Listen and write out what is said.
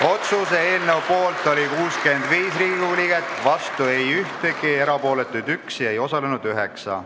Otsuse eelnõu poolt oli 65 Riigikogu liiget, vastu ei olnud ühtegi, erapooletuid 1, ei osalenud 9.